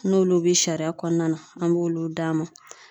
N'olu be sariya kɔnɔna na an b'olu d'a ma